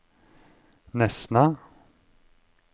Nesna